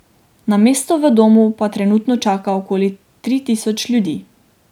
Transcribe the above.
Na mesto v domu pa trenutno čaka okoli tri tisoč ljudi.